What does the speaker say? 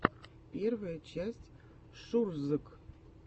первая часть шурзг